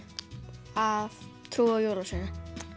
að trúa á jólasveininn